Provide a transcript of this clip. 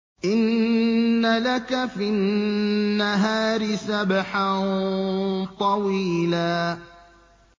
إِنَّ لَكَ فِي النَّهَارِ سَبْحًا طَوِيلًا